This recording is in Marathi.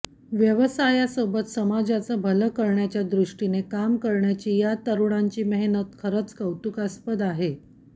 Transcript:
व्यवसायासोबत समाजाचं भलं करण्याच्या दृष्टीने काम करण्याची या तरुणांची मेहनत खरंच कौतुकास्पद आहे